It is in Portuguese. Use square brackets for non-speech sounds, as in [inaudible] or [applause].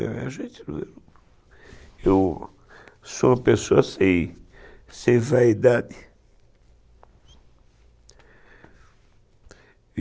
[unintelligible] Eu sou uma pessoa sem sem vaidade [cries]